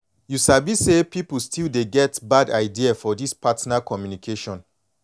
you sabi say people still dey get bad idea for this partner communication